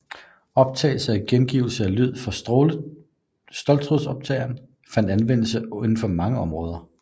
Optagelse og gengivelse af lyd fra ståltrådoptagere fandt anvendelse inden for mange områder